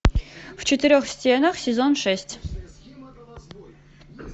в четырех стенах сезон шесть